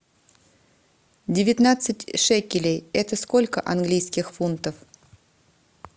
девятнадцать шекелей это сколько английских фунтов